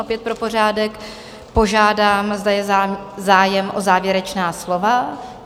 Opět pro pořádek požádám, zda je zájem o závěrečná slova?